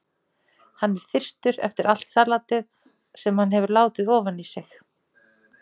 Hann er þyrstur eftir allt salatið sem hann hefur látið ofan í sig.